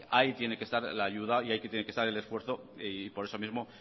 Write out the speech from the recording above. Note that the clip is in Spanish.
ahí tiene que estar la ayuda y ahí tiene que estar el esfuerzo y por eso mismo